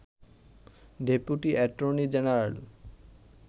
deputy attorney general